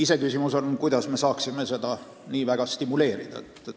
Iseküsimus on, kuidas me saaksime nende hankimist nii väga stimuleerida.